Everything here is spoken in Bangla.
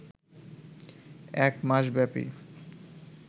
এক মাসব্যাপী